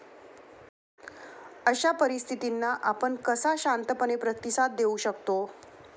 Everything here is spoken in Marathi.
अशा परिस्थितींना आपण कसा शांत मनाने प्रतिसाद देऊ शकतो?